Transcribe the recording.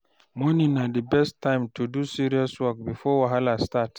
Morning na the best time to do serious work before wahala start.